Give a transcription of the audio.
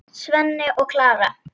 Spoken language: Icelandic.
Svenni og Klara!